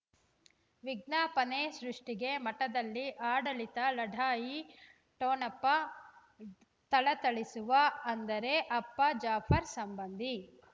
ವಿಜ್ಞಾಪನೆ ಸೃಷ್ಟಿಗೆ ಮಠದಲ್ಲಿ ಆಡಳಿತ ಲಢಾಯಿ ಠೊಣಪ ಥಳಥಳಿಸುವ ಅಂದರೆ ಅಪ್ಪ ಜಾಫರ್ ಸಂಬಂಧಿ